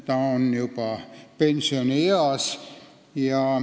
Ta on juba pensionieas.